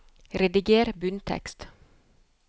Rediger bunntekst